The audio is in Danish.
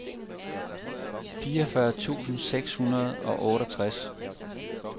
fireogfyrre tusind seks hundrede og otteogtres